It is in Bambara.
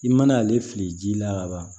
I mana ale fili ji la ka ban